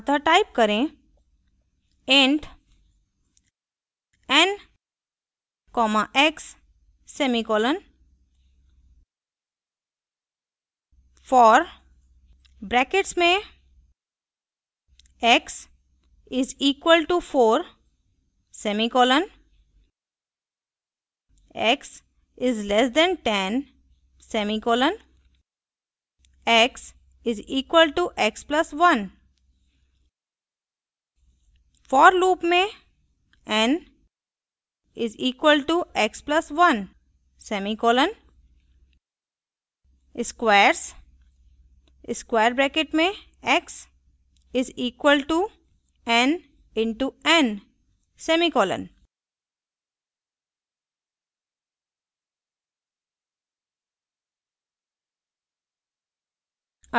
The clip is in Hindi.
अतः type करें